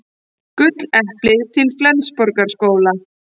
Gulleplið til Flensborgarskóla